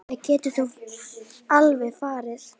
Það gæti þó alveg verið.